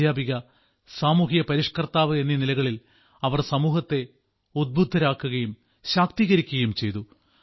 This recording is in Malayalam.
അദ്ധ്യാപിക സാമൂഹിക പരിഷ്ക്കർത്താവ് എന്നീ നിലകളിൽ അവർ സമൂഹത്തെ ഉദ്ബുദ്ധരാക്കുകയും ശാക്തീകരിക്കുകയും ചെയ്തു